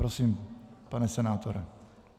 Prosím, pane senátore.